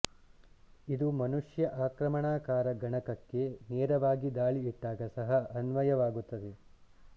ಇದು ಮನುಷ್ಯ ಆಕ್ರಮಣಕಾರ ಗಣಕಕ್ಕೆ ನೇರವಾಗಿ ದಾಳಿ ಇಟ್ಟಾಗ ಸಹ ಅನ್ವಯವಾಗುತ್ತದೆ